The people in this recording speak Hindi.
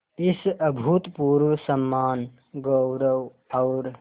इस अभूतपूर्व सम्मानगौरव और